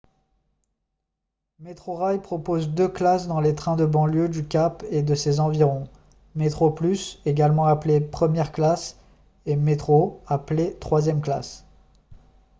metrorail propose deux classes dans les trains de banlieue du cap et de ses environs : metroplus également appelée première classe et metro appelée troisième classe